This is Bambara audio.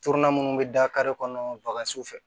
minnu bɛ da kare kɔnɔ bagan si fɛ